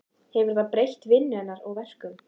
Hefur það breytt vinnu hennar og verkum?